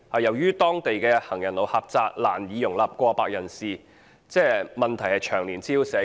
由於當地行人路狹窄，難以容納過百人士逗留，問題長年滋擾社區。